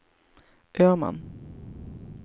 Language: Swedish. Öman